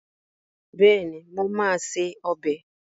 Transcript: Bẹ́ẹ̀ni, mo máa se ọbẹ̀